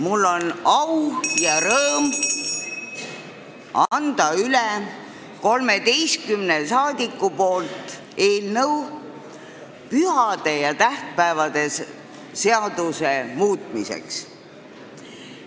Mul on au ja rõõm anda 13 rahvasaadiku nimel üle eelnõu pühade ja tähtpäevade seaduse muutmiseks.